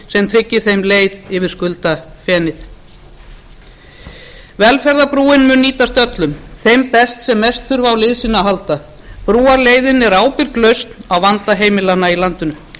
tryggir þeim leið yfir skuldafenið velferðarbrúin mun nýtast öllum þeim best sem mest þurfa á liðsinni að halda brúarleiðin er ábyrg lausn á vanda heimilanna í landinu